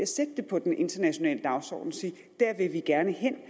sætte det på den internationale dagsorden og sige der vil vi gerne hen